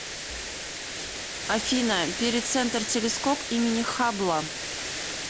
афина перицентр телескоп имени хаббла